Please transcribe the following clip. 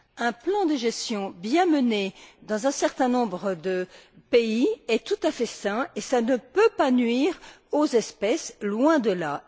Un plan de gestion bien mené dans un certain nombre de pays est tout à fait sain et cela ne peut pas nuire aux espèces, loin de là.